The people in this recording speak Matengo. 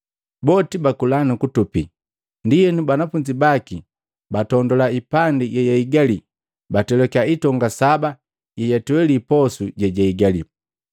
Boti bakula nukutupi. Ndienu banafunzi baki batondula ipandi yeiigali, batwelakia itonga saba yeyatweli posu jejahigali.